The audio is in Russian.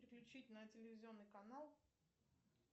переключить на телевизионный канал